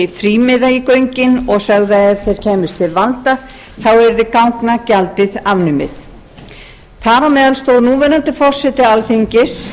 göngin og sögðu að ef það kæmist til valda þá yrði gangagjaldið afnumið þar á meðal stóð núverandi forseti alþingis